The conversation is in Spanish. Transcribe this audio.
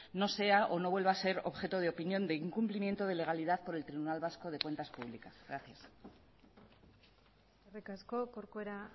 no sea o no vuelva a ser objeto de opinión de incumplimiento de legalidad por el tribunal vasco de cuentas públicas gracias eskerrik asko corcuera